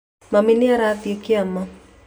Mami nĩ aathire kĩama